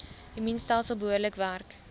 immuunstelsel behoorlik werk